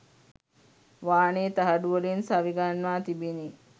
වානේ තහඩුවලින් සවි ගන්වා තිබිණි